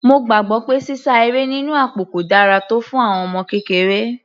Mo gbàgbọ́ pé sísá eré nínú àpò kò dára tọ́ fún àwọn ọmọ kékeré.